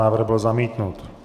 Návrh byl zamítnut.